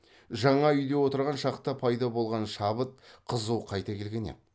жаңа үйде отырған шақта пайда болған шабыт қызу қайта келген еді